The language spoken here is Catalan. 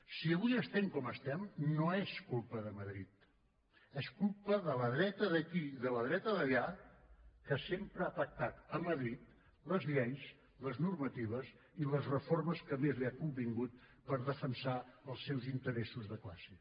si avui estem com estem no és culpa de madrid és culpa de la dreta d’aquí i de la dreta d’allà que sempre ha pactat a madrid les lleis les normatives i les reformes que més li ha convingut per defensar els seus interessos de classe